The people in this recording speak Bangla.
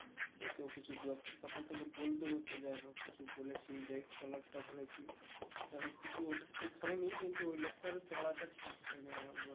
ওকেও কিছু কথা তোকে বলতে হতো যাই হোক কিছু বলেছি যে এর collar টা ধরেছি যাই হোক কিছু ওটা ঠিক হয়ে নি কিন্তু ওই লোকটার ও চোরাটা ঠিক হয়নি